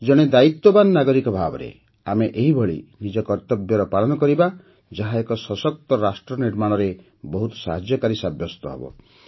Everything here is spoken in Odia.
ଜଣେ ଦାୟିତ୍ୱବାନ ନାଗରିକ ଭାବେ ଆମେ ଏହିପରି ନିଜ କର୍ତ୍ତବ୍ୟର ପାଳନ କରିବା ଯାହା ଏକ ସଶକ୍ତ ରାଷ୍ଟ୍ର ନିର୍ମାଣରେ ବହୁତ ସାହାଯ୍ୟକାରୀ ସାବ୍ୟସ୍ତ ହେବ